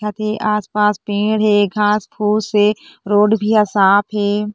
यहाँँ पे आस-पास पेड़ हे घास फुस रोड भी ह साफ हे।